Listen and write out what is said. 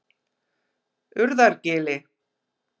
Urðargili